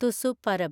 Tusu Parab